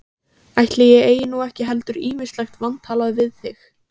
Ætli ég eigi nú ekki heldur ýmislegt vantalað við þig.